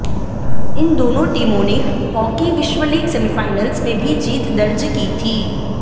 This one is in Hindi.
इन दोनों टीमों ने हाकी विश्व लीग सेमीफाइनल्स में भी जीत दर्ज की थी